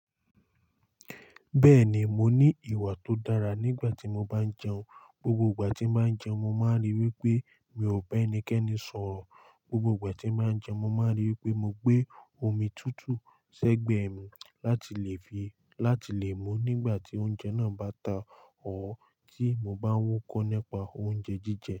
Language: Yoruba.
Bẹ́ẹ̀ ni, mo ní ìwà tó dára nígbà tí mo bá ń jẹun. Gbogbo ìgbà tí màá ń jẹun, mo máa ríi wípé mi ò bá ẹnikẹ́ni sọ̀rọ̀. Gbogbo ìgbà tí màá ń jẹun, mo máa ríi wípé mo gbé omi tútù ṣẹ́gbẹ́ mi láti lè fi láti lè mú nígbà tí oúnjẹ náà bá ta or tí mo bá ń wúkọ́ nípa oúnjẹ jíjẹ.